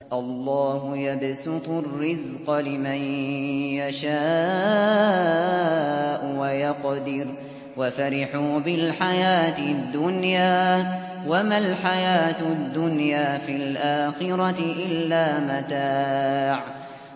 اللَّهُ يَبْسُطُ الرِّزْقَ لِمَن يَشَاءُ وَيَقْدِرُ ۚ وَفَرِحُوا بِالْحَيَاةِ الدُّنْيَا وَمَا الْحَيَاةُ الدُّنْيَا فِي الْآخِرَةِ إِلَّا مَتَاعٌ